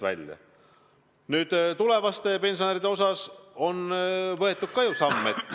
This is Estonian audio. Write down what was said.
Ja tulevaste pensionäride nimel on ju ka samme astutud.